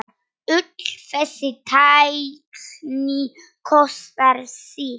Öll þessi tækni kostar sitt.